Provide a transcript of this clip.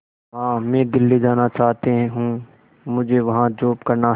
मां मैं दिल्ली जाना चाहते हूँ मुझे वहां जॉब करना है